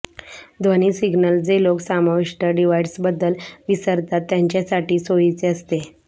ध्वनी सिग्नल जे लोक समाविष्ट डिव्हाइसबद्दल विसरतात त्यांच्यासाठी सोयीचे असते